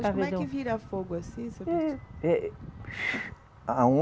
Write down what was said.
Mas como é que vira fogo assim, seu?